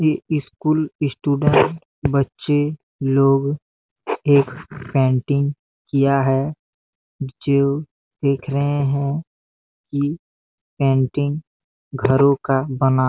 ये school student बच्चे लोग एक पेंटिंग किया है जो देख रहे है की पेंटिंग घरों का बना--